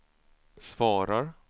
svarar